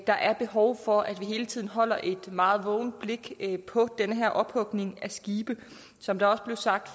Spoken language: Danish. der er behov for at vi hele tiden holder et meget vågent blik på den her ophugning af skibe som det også blev sagt